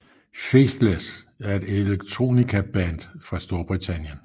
Faithless er et electronica band fra Storbritannien